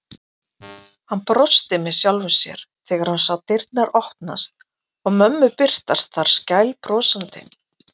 Hann brosti með sjálfum sér þegar hann sá dyrnar opnast og mömmu birtast þar skælbrosandi.